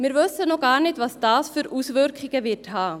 Wir wissen noch gar nicht, welche Auswirkungen dieses haben wird.